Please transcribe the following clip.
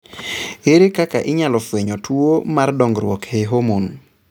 Ere kaka inyalo fweny tuo mar dongruok e homon?